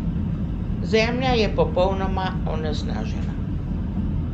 Zemlja je popolnoma onesnažena.